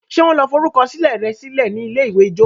ṣe wan lò forukọsilẹ rẹ silẹ ní ilé-ìwé ijó?